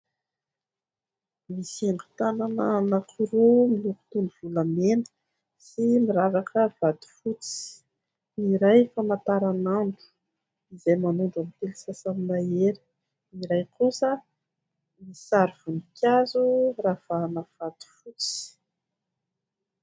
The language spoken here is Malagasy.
Misy haingo tanana anankiroa miloko toa ny volamena sy miravaka vato fotsy, ny iray famantaranandro izay manondro amin'ny telo sasany mahery, ny iray kosa misy sary voninkazo ravahana vato fotsy.